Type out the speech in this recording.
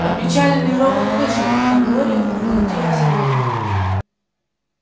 опечаленный робот вышел а глория проглотила слезы